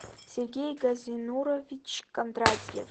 сергей газинурович кондратьев